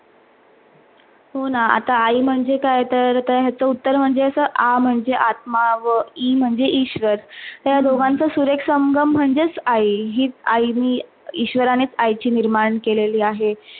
हो ना आता आई म्हणजे काय? तर याच उत्तर म्हणजे अस आ म्हणजे आत्मा वा ई म्हणजे ईश्वर. त्या दोघाचा सुरेख संगम म्हणजे आई हिच आई नी ईश्वराणीच आईची निर्माण केलेली आहे.